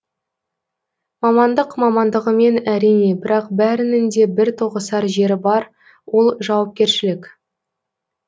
мамандық мамандығымен әрине бірақ бәрінің де бір тоғысар жері бар ол жауапкершілік